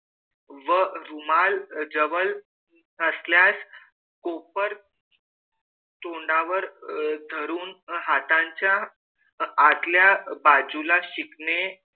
व रुमाल जवळ नसल्यास कोपर तोंडावर धरून हातांच्या आतल्या बाजूला शिंकणे,